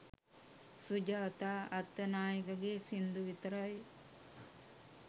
සුජාතා අත්තනායකගේ සිංදු විතරයි